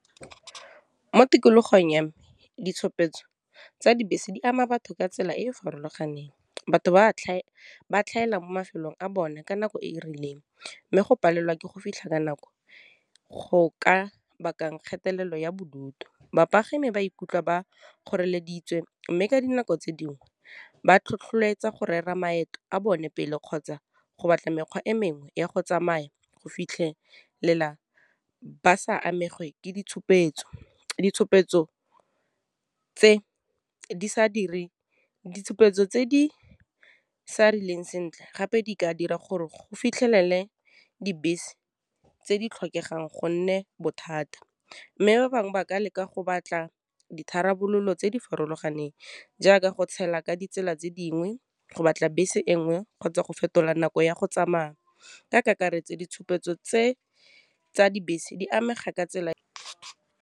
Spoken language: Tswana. Mo tikologong ya me ditshupetso tsa dibese di ama batho ka tsela e e farologaneng, batho ba tlhaela mo mafelong a bone ka nako e e rileng, mme go palelwa ke go fitlha ka nako go ka bakang kgatelelo ya bodutu. Bapagami ba ikutlwa ba kgoreleditswe mme ka dinako tse dingwe ba tlhotlheletsa go rera maeto a bone pele, kgotsa go batla mekgwa e mengwe ya go tsamaya go fitlhelela ba sa amege ke ditshupetso. ditshupetso tse di sa rileng sentle gape di ka dira gore go fitlhelele dibese tse di tlhokegang gonne bothata, mme ba bangwe ba ka leka go batla ditharabololo tse di farologaneng jaaka go tshela, ka ditsela tse dingwe, go batla bese engwe kgotsa go fetola nako ya go tsamaya, ka kakaretso ditshupetso tse tsa dibese di amega ka tsela .